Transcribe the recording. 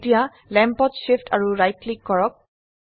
এতিয়া ল্যাম্পত Shift আৰু ৰাইট ক্লিক কৰক